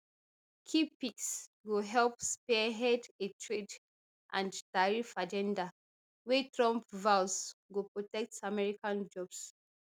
key picks go help spearhead a trade and tariff agenda wey trump vows go protect american jobs